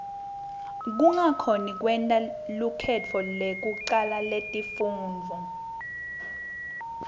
kungakhoni kwenta lukhetfo lekucala letifundvo